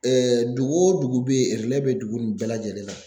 dugu wo dugu bɛ bɛ dugu nin bɛɛ lajɛlen na